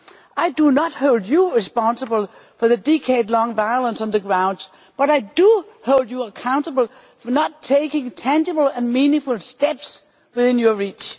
I do not hold you responsible for the decade-long violence on the ground, but I do hold you accountable for not taking the tangible and meaningful steps within your reach.